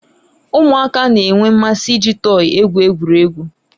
Ụmụaka na-enwe mmasị iji tọyi egwu egwuregwu.